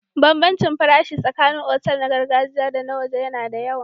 Bambancin farashi tsakanin otal na gargajiya da na waje yana da yawa.